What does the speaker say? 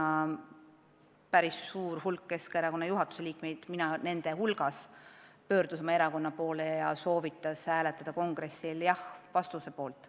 Toona pöördus päris suur hulk Keskerakonna juhatuse liikmeid, mina nende hulgas, erakonna poole, me soovitasime hääletada kongressil jah-vastuse poolt.